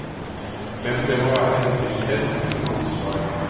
Men det må være en frihet under ansvar.